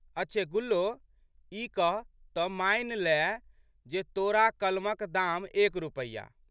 अच्छे गुल्लो ई कहह तऽ मानि लएह जे तोरा कलमक दाम एक रुपैया